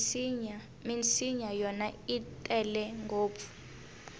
minsinya yona i tele ngopfu